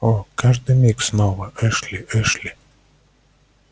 о каждый миг снова эшли эшли